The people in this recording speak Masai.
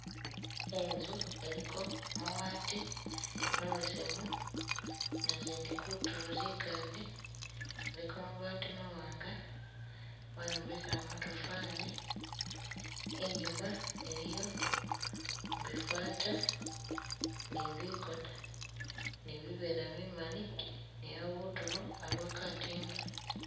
Inzu iliko mabaati mabesemu nazindi kutulo zingade, iliko mabaati mawanga bayombekela matafali, inyuma iliyo bifata ne bigoona ne bivera bimaali ne abutulo aliwo katiimba.